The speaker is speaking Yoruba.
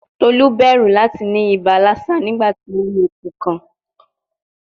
Tolu bẹru lati ni iba Lassa nigbati o ri eku kan